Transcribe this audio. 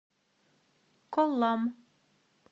коллам